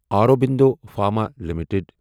Aurobindo Pharma limited